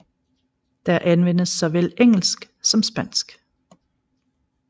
Der anvendes såvel engelsk som spansk